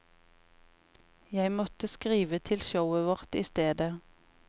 Jeg måtte skrive til showet vårt i stedet.